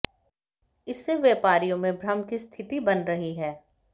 इससे व्यापारियों में भम्र की स्थिति बन रही है